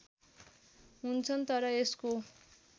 हुन्छन् तर यसको